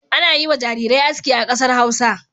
Ana yi wa jarirai aski a kasar Hausa.